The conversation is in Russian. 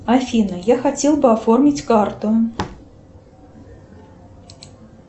афина я хотел бы оформить карту